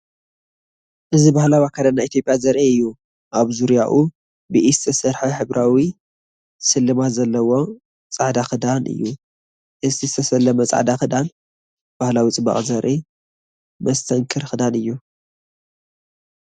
እዚ ባህላዊ ኣከዳድና ኢትዮጵያ ዘርኢ እዩ። ኣብ ዙርያኡ ብኢድ ዝተሰርሐ ሕብራዊ ስልማት ዘለዎ ጻዕዳ ክዳን እዩ። እዚ ዝተሰለመ ጻዕዳ ክዳን፡ ባህላዊ ጽባቐ ዘርኢ መስተንክር ክዳን እዩ።